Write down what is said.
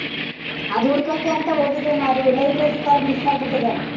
ಅದು ಹುಡ್ಕಕ್ಕೆ ಅಂತ ಹೋಗಿದ್ದೆ ಮಾ ಅದು library card miss ಆಗ್ಬಿಟಿದೆ.